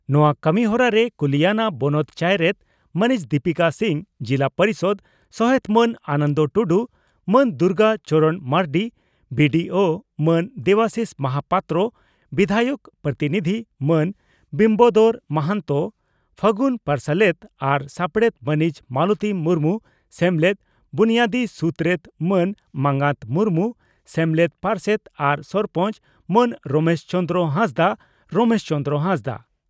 ᱱᱚᱣᱟ ᱠᱟᱹᱢᱤᱦᱚᱨᱟ ᱨᱮ ᱠᱩᱞᱤᱭᱟᱱᱟ ᱵᱚᱱᱚᱛ ᱪᱟᱭᱨᱮᱛ ᱢᱟᱹᱱᱤᱡ ᱫᱤᱯᱤᱠᱟ ᱥᱤᱝ, ᱡᱤᱞᱟ ᱯᱚᱨᱤᱥᱚᱫᱽ ᱥᱚᱦᱮᱛ ᱢᱟᱱ ᱟᱱᱚᱱᱫᱚ ᱴᱩᱰᱩ, ᱢᱟᱱ ᱫᱩᱨᱜᱟ ᱪᱚᱨᱚᱬ ᱢᱟᱨᱱᱰᱤ, ᱵᱤᱹᱰᱤᱹᱳᱹ ᱢᱟᱱ ᱫᱮᱵᱟᱥᱤᱥ ᱢᱚᱦᱟᱯᱟᱛᱨᱚ, ᱵᱤᱫᱷᱟᱭᱚᱠ ᱯᱨᱚᱛᱤᱱᱤᱫᱷᱤ ᱢᱟᱹᱱ ᱵᱤᱢᱵᱟᱫᱚᱨ ᱢᱟᱦᱟᱱᱛᱚ, ᱯᱷᱟᱹᱜᱩᱱ ᱯᱟᱨᱥᱟᱞᱮᱛ ᱟᱨ ᱥᱟᱯᱲᱮᱛ ᱢᱟᱹᱱᱤᱡ ᱢᱟᱞᱚᱛᱤ ᱢᱩᱨᱢᱩ, ᱥᱮᱢᱞᱮᱫ ᱵᱩᱱᱭᱟᱫᱤ ᱥᱩᱛᱨᱮᱛ ᱢᱟᱱ ᱢᱟᱸᱜᱟᱛ ᱢᱩᱨᱢᱩ, ᱥᱮᱢᱞᱮᱫ ᱯᱟᱨᱥᱮᱛ ᱟᱨ ᱥᱚᱨᱯᱚᱸᱪ, ᱢᱟᱱ ᱨᱚᱢᱮᱥ ᱪᱚᱸᱫᱽᱨᱚ ᱦᱟᱸᱥᱫᱟᱜ ᱨᱚᱢᱮᱥ ᱪᱚᱸᱫᱽᱨᱚ ᱦᱟᱸᱥᱫᱟᱜ